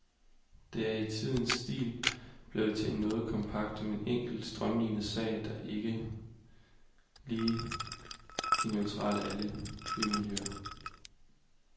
Det er i tidens stil blevet til en noget kompakt, men enkel og strømliniet sag, der ikke er lige neutral i alle bymiljøer.